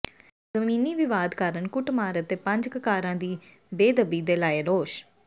ਜ਼ਮੀਨੀ ਵਿਵਾਦ ਕਾਰਨ ਕੁੱਟਮਾਰ ਅਤੇ ਪੰਜ ਕਕਾਰਾਂ ਦੀ ਬੇਅਦਬੀ ਦੇ ਲਾਏ ਦੋਸ਼